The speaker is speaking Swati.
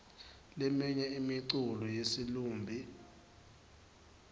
leminye imiculo yesilumbi